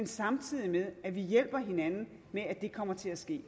samtidig hjælper hinanden med at det kommer til at ske